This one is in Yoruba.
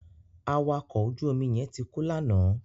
Awakọ̀ ojú omi yẹn ti kú lánàá.